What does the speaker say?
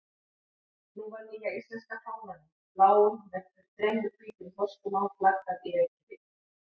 Nú var nýja íslenska fánanum, bláum með þremur hvítum þorskum á, flaggað í Reykjavík.